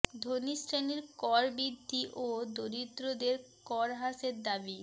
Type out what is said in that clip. ধনি শ্রেণির কর বৃদ্ধি ও দরিদ্রের কর হ্রাসের দাবি